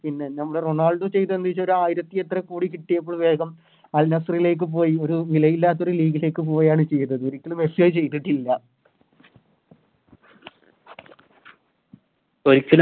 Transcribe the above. പിന്നെ നമ്മുടെ റൊണാൾഡോ ചെയ്‌തെന്ത വെച്ചാല് ഒര് ആയിരത്തി എത്രോ കോടി കിട്ടിയപ്പോ വേഗം Al nassr ലേക്ക് പോയി ഒരു നിലയില്ലാത്തൊരു League ലേക്ക് പോവാണ് ചെയ്തത് ഒരിക്കലും മെസ്സിയത് ചെയ്തിട്ടില്ല